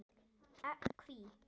Innt eftir: Hví?